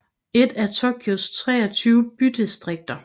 er et af Tokyos 23 bydistrikter